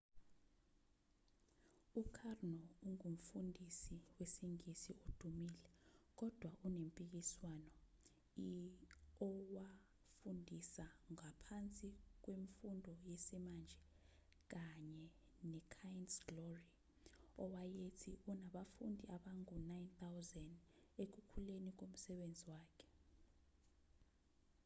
u-karno ungumfundisi wesingisi odumile kodwa onempikiswano i owafundisa ngaphansi kwemfundo yesimanje kanye ne-kind's glory owayethi unabafundi abangu-9,000 ekukhuleni komsebenzi wakhe